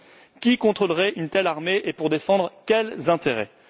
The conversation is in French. Qui contrôlerait une telle armée et pour défendre quels intérêts?